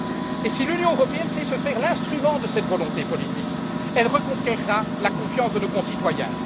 Et si l'Union européenne sait se faire l'instrument de cette volonté politique, elle reconquerra la confiance de nos concitoyens.